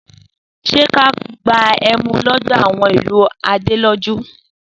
Sẹ kà lọ gbà ẹmú lòdó àwon ìlú Àdẹlòjú?